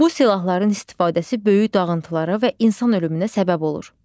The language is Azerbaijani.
Bu silahların istifadəsi böyük dağıntılara və insan ölümünə səbəb olur.